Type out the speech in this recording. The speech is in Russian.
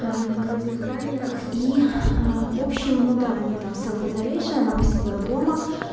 а на круизных лайнерах и в общем ну да они там селфи залешаны она посидела дома